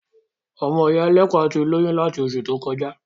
Ọmọ ìyá ẹlẹ́pà tí lóyún láti oṣù tó kọjá.